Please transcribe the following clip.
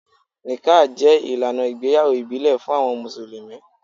Níkkàh jẹ ilànà ìgbéyàwó ìbílẹ̀ fún awọn musulumi.